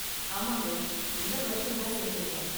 ஆமாங்க, இந்த வருஷம்தான் சேர்ந்திருக்கேன்.